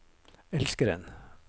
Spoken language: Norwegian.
elskeren